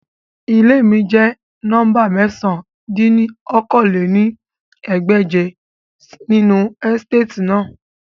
Ile mi jẹ nọmba mẹ̀sán dín ní okòó-lé-ní-ẹgbẹ́je ninu esitati naa